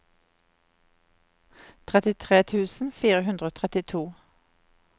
trettitre tusen fire hundre og trettito